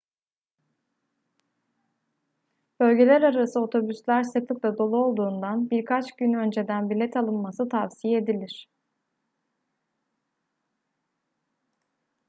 bölgelerarası otobüsler sıklıkla dolu olduğundan birkaç gün önceden bilet alınması tavsiye edilir